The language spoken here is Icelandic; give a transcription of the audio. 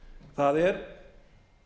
það er